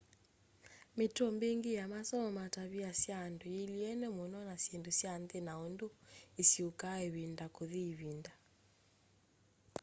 mitũo mbingi ya masomo ma tavia sya andũ yiilyene mũno na syĩndũ sya nthi na undũ isyũkaa ivinda kũthi ĩvinda